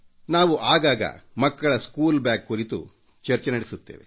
ನಾವು ಆಗಾಗ ಮಕ್ಕಳ ಸ್ಕೂಲ್ ಬ್ಯಾಗ್ ಕುರಿತು ಚರ್ಚೆ ನಡೆಸುತ್ತೇವೆ